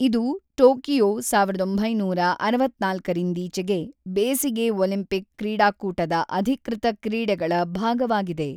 ಇದು ಟೋಕಿಯೊ ಸಾವಿರದ ಒಂಬೈನೂರ ಅರವತ್ತ್ನಾಲ್ಕರಿಂದೀಚೆಗೆ ಬೇಸಿಗೆ ಒಲಿಂಪಿಕ್ ಕ್ರೀಡಾಕೂಟದ ಅಧಿಕೃತ ಕ್ರೀಡೆಗಳ ಭಾಗವಾಗಿದೆ.